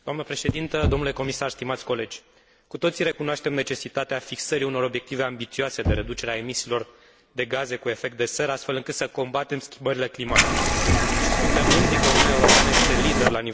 Cu toții recunoaștem necesitatea fixării unor obiective ambițioase de reducere a emisiilor de gaze cu efect de seră, astfel încât să combatem schimbările climatice, și suntem mândri că Uniunea Europeană este lider la nivel mondial în această luptă importantă.